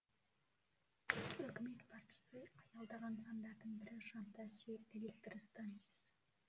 үкімет басшысы аялдаған нысандардың бірі жаңатас жел электр станциясы